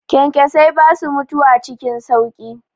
Kyankyasai basu mutuwa cikin sauƙi.